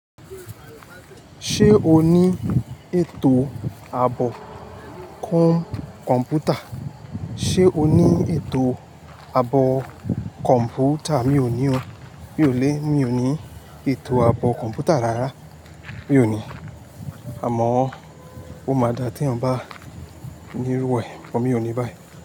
Ṣé o ní ètò àbò kọ́ń kọ̀m̀pútà? Ṣé o ní ètò àbò kọ̀m̀pútà? Mi ò ní o. Mi ò ní, mi ò ní ètò àbọ̀ kọ̀m̀pútà rárá. Mi ò ní. Àmọ́, ó máa dà tí èèyàn bá ní irú ẹ, but mi ò ní báyìí.